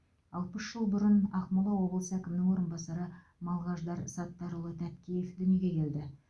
алпыс жыл бұрын ақмола облысы әкімінің орынбасары малғаждар саттарұлы тәткеев дүниеге келді